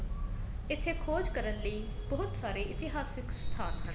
ਇੱਥੇ ਖੋਜ ਕਰਨ ਲਈ ਬਹੁਤ ਸਾਰੇ ਇਤਿਹਾਸਿਕ ਸਥਾਨ ਹਨ